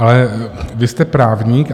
Ale vy jste právník.